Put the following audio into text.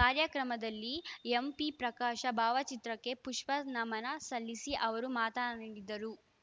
ಕಾರ್ಯಕ್ರಮದಲ್ಲಿ ಎಂಪಿಪ್ರಕಾಶ ಭಾವಚಿತ್ರಕ್ಕೆ ಪುಷ್ಪ ನಮನ ಸಲ್ಲಿಸಿ ಅವರು ಮಾತ ಡಿದರು